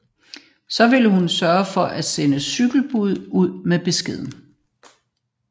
Så ville hun sørge for at sende et cykelbud ud med beskeden